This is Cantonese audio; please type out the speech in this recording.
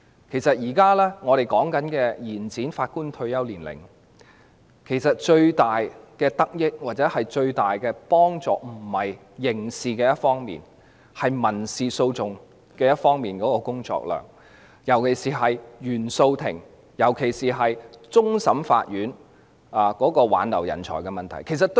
其實，我們現時所說的延展法官退休年齡，最大的得益或最大的幫助並不在於刑事方面，而是民事訴訟方面的工作量，與原訟法庭及終審法院挽留人才的問題尤其相關。